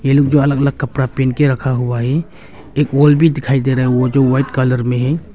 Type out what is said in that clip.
ये लोग जो अलग अलग कपड़ा पहन के रखा हुआ है एक वॉल भी दिखाई दे रहा है वॉल ओ जो व्हाइट कलर में है।